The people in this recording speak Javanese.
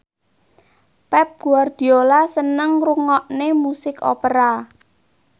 Pep Guardiola seneng ngrungokne musik opera